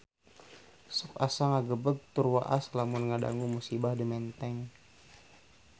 Sok asa ngagebeg tur waas lamun ngadangu musibah di Menteng